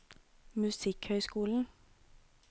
musikkhøyskolen